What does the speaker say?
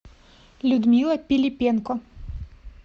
людмила пилипенко